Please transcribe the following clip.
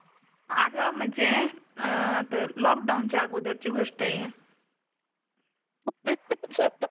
अग म्णजे अं तर lockdown चा अगोदर ची गोष्ट ए